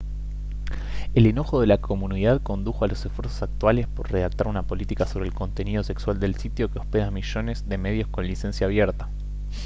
el enojo de la comunidad condujo a los esfuerzos actuales por redactar una política sobre el contenido sexual del sitio que hospeda a millones de medios con licencia abierta